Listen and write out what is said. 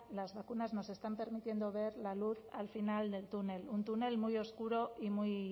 las vacunas nos están permitiendo ver la luz al final del túnel un túnel muy oscuro y muy